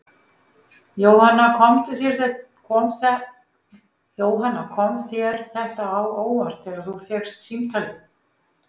Jóhanna: Kom þér þetta á óvart þegar þú fékkst símtalið?